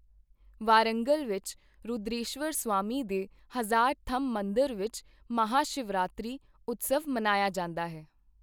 ਵਾਰੰਗਲ ਵਿੱਚ ਰੁਦ੍ਰੇਸ਼ਵਰ ਸਵਾਮੀ ਦੇ ਹਜ਼ਾਰ ਥੰਮ੍ਹ ਮੰਦਰ ਵਿੱਚ ਮਹਾਂ-ਸ਼ਿਵਰਾਤਰੀ ਉਤਸਵ ਮਨਾਇਆ ਜਾਂਦਾ ਹੈ।